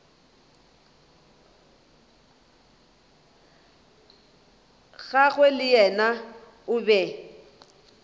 gagwe le yena o be